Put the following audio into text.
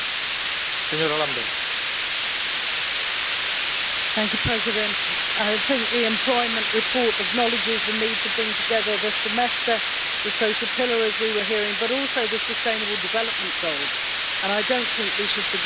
Mr President, I think the Employment Report acknowledges the need to bring together the Semester, the Social Pillar as we were hearing and also the Sustainable Development Goals I do not think we should forget those.